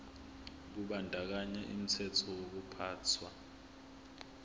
kubandakanya umthetho wokuphathwa